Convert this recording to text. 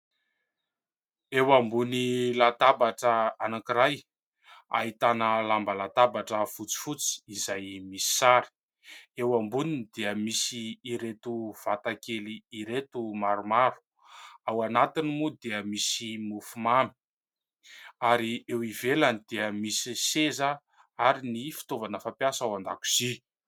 Eo ambony latabatra anakiray, ahitana lamba latabatra fotsy fotsy izay misy sary. Eo amboniny dia misy ireto vatakely ireto maromaro. Ao anatiny moa dia misy mofo mamy ary eo ivelany dia misy seza ary ny fitaovana fampiasa ao an-dakozia.